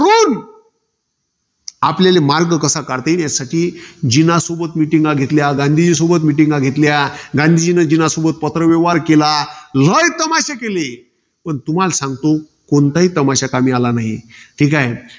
आपल्याले मार्ग कसा काढता येईल? यासाठी जिना सोबत meetings घेतल्या. गांधीजींसोबत meetings घेतल्या. गांधीजीनी जिनासोबत पत्रव्यवहार केला. लय तमाशे केले. पण तुम्हाला सांगतो, कोणताही तमाशा कमी आला नाही. ठीकाय.